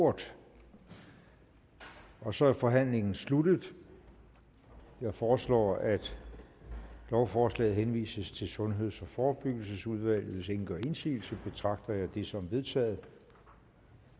ordet og så er forhandlingen sluttet jeg foreslår at lovforslaget henvises til sundheds og forebyggelsesudvalget hvis ingen gør indsigelse betragter jeg det som vedtaget